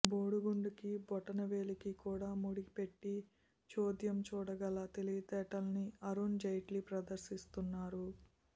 బోడిగుండుకీ బొటనవేలికీ కూడా ముడిపెట్టి చోద్యం చూడగల తెలివితేటల్ని అరుణ్ జైట్లీ ప్రదర్శిస్తున్నారు